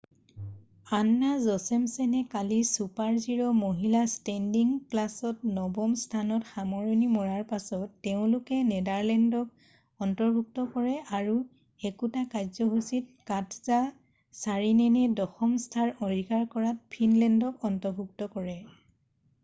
আন্না জচেমছেনে কালি ছুপাৰ-জিৰ মহিলা ষ্টেণ্ডিং ক্লাছত নৱম স্থানত সামৰণি মৰাৰ পাছত তেওঁলোকে নেডাৰলেণ্ডক অন্তৰ্ভুক্ত কৰে আৰু একেটা কাৰ্যসূচীতে কাটজা ছাৰিনেনে দশম স্থান অধিকাৰ কৰাত ফিনলেণ্ডক অন্তৰ্ভুক্ত কৰে